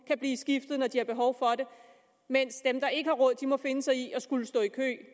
kan blive skiftet når de har behov for det mens dem der ikke har råd må finde sig i at skulle stå i kø